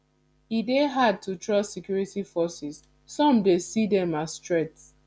e dey hard to trust security forces some dey see dem as threat